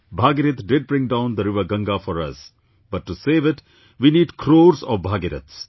Bhagirath did bring down the river Ganga for us, but to save it, we need crores of Bhagiraths